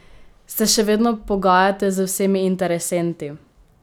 Se še vedno pogajate z vsemi interesenti?